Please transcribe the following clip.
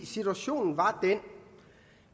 situationen var den